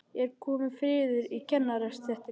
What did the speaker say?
Er kominn friður í kennarastéttinni?